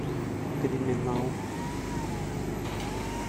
криминал